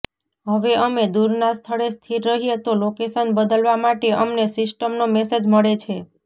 હવે અમે દૂરના સ્થળે સ્થિર રહીએ તો લોકેશન બદલવા માટે અમને સિસ્ટમનો મેસેજ મળે છે